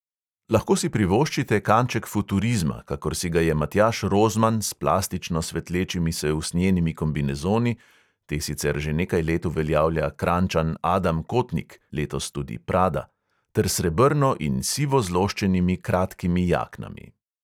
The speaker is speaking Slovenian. Lahko si privoščite kanček futurizma, kakor si ga je matjaž rozman s plastično svetlečimi se usnjenimi kombinezoni – te sicer že nekaj let uveljavlja kranjčan adam kotnik, letos tudi prada – ter srebrno in sivo zloščenimi kratkimi jaknami.